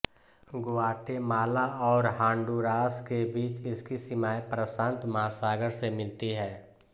Guatemala और Honduras के बीच इसकी सीमाएं प्रशांत महासागर से मिलती है